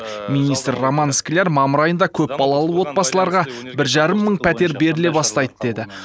министр роман скляр мамыр айында көпбалалы отбасыларға бір жарым мың пәтер беріле бастайды деді